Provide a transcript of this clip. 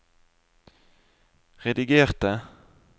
redigerte